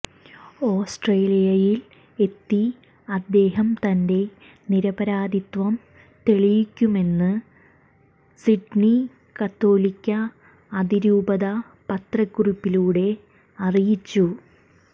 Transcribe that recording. ഓസ്ട്രേലിയയിൽ എത്തി അദ്ദേഹം തന്റെ നിരപരാദിത്വം തെളിയിക്കുമെന്ന് സിഡ്നി കത്തോലിക അതിരൂപത പത്രക്കുറിപ്പിലൂടെ അറിയിച്ചു